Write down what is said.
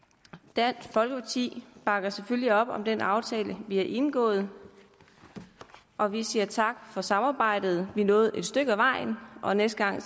dansk folkeparti bakker selvfølgelig op om den aftale vi har indgået og vi siger tak for samarbejdet vi nåede et stykke ad vejen og næste gang